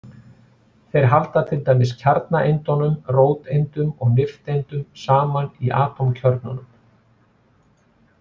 Þeir halda til dæmis kjarnaeindunum, róteindum og nifteindum, saman í atómkjörnunum.